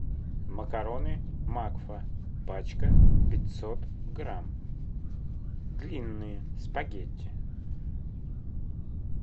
макароны макфа пачка пятьсот грамм длинные спагетти